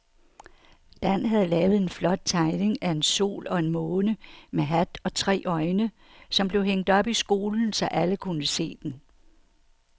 Dan havde lavet en flot tegning af en sol og en måne med hat og tre øjne, som blev hængt op i skolen, så alle kunne se den.